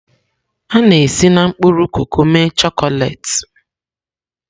A na-esi na mkpụrụ koko mee chọkolet.